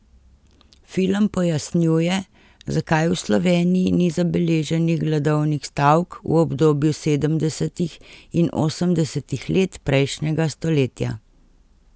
Film pojasnjuje, zakaj v Sloveniji ni zabeleženih gladovnih stavk v obdobju sedemdesetih in osemdesetih let prejšnjega stoletja.